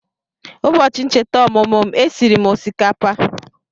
Ụbọchị ncheta ọmụmụ m, e siri m osikapa